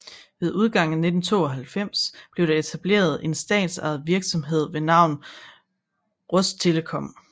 Ved udgangen af 1992 blev der etableret en statsejet virksomhed ved navn Rostelekom